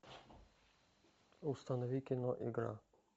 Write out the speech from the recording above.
установи кино игра